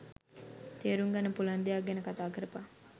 තේරුම් ගන්න පුළුවන් දෙයක් ගැන කතා කරපං